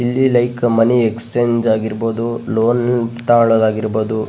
ಇಲ್ಲಿ like money exchange ಆಗಿರ್ಬಹುದು loan ತಗೊಳ್ಳೊದಾಗಿರ್ಬಹುದು --